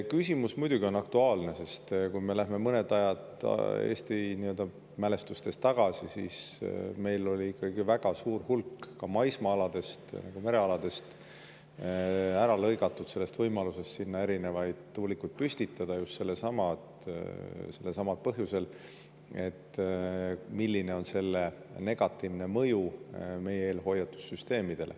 Küsimus muidugi on aktuaalne, sest kui me läheme mõned ajad Eesti mälestustes tagasi, siis meil oli ikkagi väga suur hulk maismaa-aladest ja merealadest ära lõigatud võimalusest sinna erinevaid tuulikuid püstitada just sellelsamal põhjusel, et, milline oleks nende negatiivne mõju meie eelhoiatussüsteemidele.